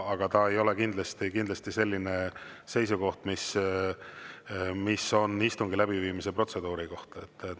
See ei ole kindlasti seisukoht istungi läbiviimise protseduuri kohta.